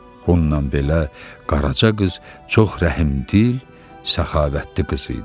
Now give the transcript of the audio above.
Bundan belə Qaraca qız çox rəhimdil, səxavətli qız idi.